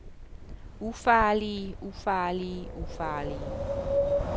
ufarlige ufarlige ufarlige